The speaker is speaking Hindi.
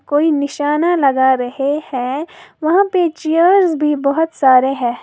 कोई निशाना लगा रहे हैं वहां पे चेयर्स भी बहुत सारे है।